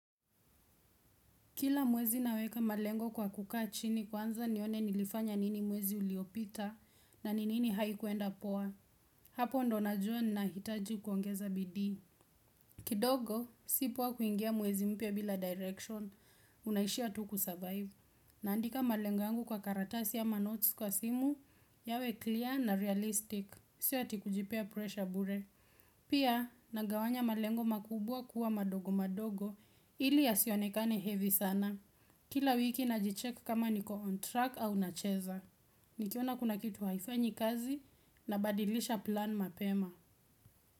Kila mwezi naweka malengo kwa kukaa chini kwanza nione nilifanya nini mwezi uliopita na ni nini haikuenda poa. Hapo ndipo na jua naitaji kuongeza bidii. Kidogo, si poa kuingia mwezi mpya bila direction. Unaishia tu kusurvive Naandika malengo yangu kwa karatasi ya ama notes kwa simu yawe clear na realistic. Sio hati kujipea pressure bure. Pia, nagawanya malengo makubwa kuwa madogo madogo ili ya sionekane heavy sana. Kila wiki najicheck kama niko on track au nacheza Nikiona kuna kitu haifanyi kazi nabadilisha plan mapema.